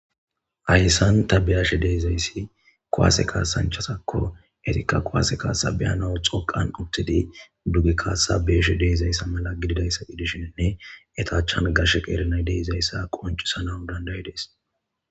Hayssan ta beashshe dee'izayssi kuwaase kaasanchasakko etikka kuwase kaasa beyana xoqan uttidi duge kaassa bee'shshe de'izayssa malla gididayssa gidishininne etta achchan gashshe qeera nay de'izayssa qoncisanawu dandayidees